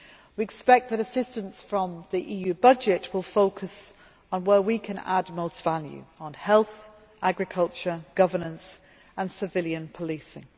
We expect that assistance from the EU budget will focus on where we can add most value on health, agriculture, governance and civilian policing.